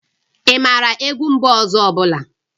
Ị maara egwu mba ọzọ ọ bụla?